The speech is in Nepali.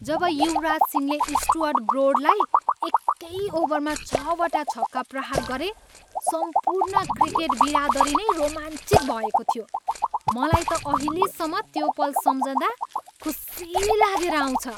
जब युवराज सिंहले स्टुअर्ट ब्रोडलाई एकै ओभरमा छवटा छक्का प्रहार गरे, सम्पूर्ण क्रिकेट बिरादरी नै रोमाञ्चित भएको थियो। मलाई त अहिलेम्म त्यो पल सम्झँदा खुसी लागेर आउँछ।